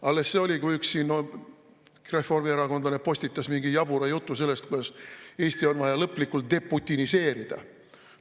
Alles see oli, kui üks reformierakondlane postitas mingi jabura jutu sellest, kuidas Eesti on vaja lõplikult deputiniseerida.